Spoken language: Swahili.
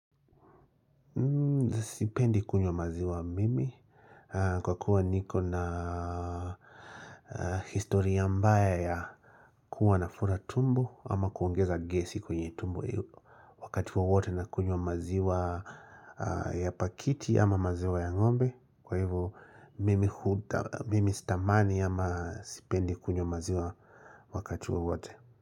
Sipendi kunywa maziwa mimi Kwa kuwa niko na historia mbaya ya kuwa nafura tumbo ama kuongeza gesi kwenye tumbo Wakati wowote nakunywa maziwa ya pakiti ama maziwa ya ngombe Kwa hivo Mimi sitamani ama Sipendi kunywa maziwa Wakati wowote.